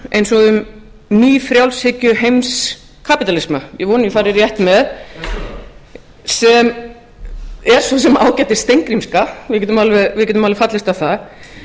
eins og um nýfrjálshyggjuheimskapítalisma ég vona að ég fari rétt með sem er svo sem ágæt steingrímska við getum alveg fallist á það